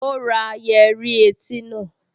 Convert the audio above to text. Ó ra yẹ́rí etí náà